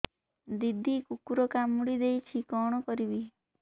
ଦିଦି କୁକୁର କାମୁଡି ଦେଇଛି କଣ କରିବି